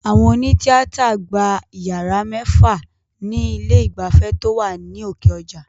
Àwọn òní tíátà gba yàrá mẹ́fà ni ilé ìgbafẹ́ tó wà ní òkè ọjà